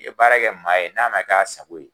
I ye baara kɛ maa ye, n'a ma k'a sago ye